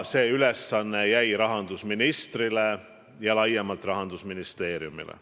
See ülesanne jäi rahandusministrile ja laiemalt Rahandusministeeriumile.